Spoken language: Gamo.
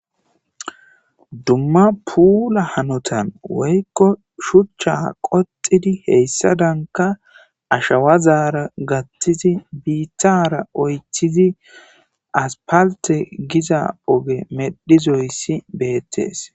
Dumma puula hanotan woykko shuchcha qoxidi heyssadanka ashawazaara gattizi biittara oytcthizi as palte giza oge medhizoyssi beettees.